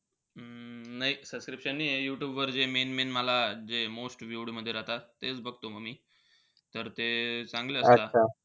अं नाई. Subscription नाहीये. यूट्यूबवर जे main main मला जे most viewed मध्ये राहता तेच बघतो म मी. तर ते चांगले असता.